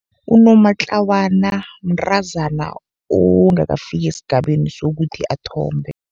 Unomatlawana mntazana ongakafiki esigabeni sokuthi athombe.